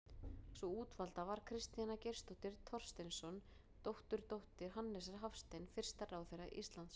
Sú útvalda var Kristjana Geirsdóttir Thorsteinsson, dótturdóttir Hannesar Hafstein fyrsta ráðherra Íslands.